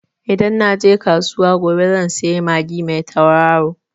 Idan na je kasuwa gobe zan sayi magi mai tauraro.